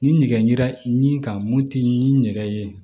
Ni nɛgɛ ɲɛ ka mun tɛ ni nɛgɛ ye